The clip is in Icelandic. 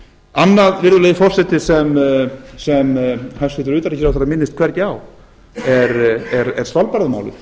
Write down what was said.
annað virðulegi forseti sem hæstvirtur utanríkisráðherra minnist hvergi á er svalbarðamálið